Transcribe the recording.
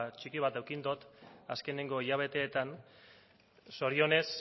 txiki bat eduki dut azkeneko hilabeteetan zorionez